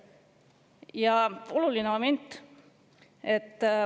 Ja oluline moment.